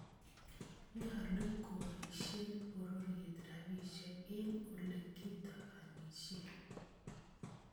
Nyalu koboisyen bororiet rabisiek eng ole kitabaanisien.